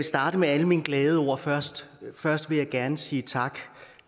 starte med alle mine glade ord først først vil jeg gerne sige tak